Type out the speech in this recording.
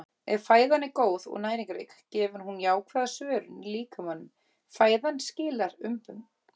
Ef fæðan er góð og næringarrík gefur hún jákvæða svörun í líkamanum- fæðan skilar umbun.